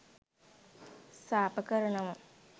සාප කරනවා.